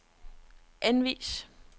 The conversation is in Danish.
anvis